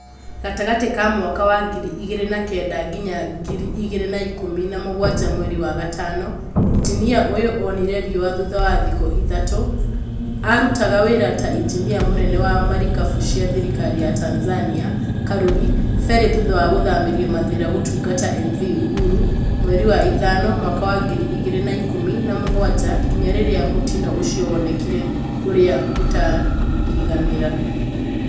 Gatagatĩ ka Mwaka wa ngiri igĩrĩ na kenda nginya ngiri igĩrĩ na ikũmi na mũgwanja Mweri wa gatano, injinia ũyũ onire riũa thutha wa thikũ ithatũ, Arutaga wĩra ta injinia mũnene wa marikabu cia thirikari ya Tanzania karurĩ ferry thutha wa gũthamirio mathĩra gũtungata MV Uhuru mweri wa ĩtano mwaka wa ngiri igĩrĩ na ikũmi na mũgwanja nginya rĩrĩa mũtino ucio wonekire ũrĩa utakariganĩra